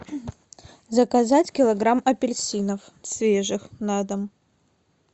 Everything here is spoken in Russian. заказать килограмм апельсинов свежих на дом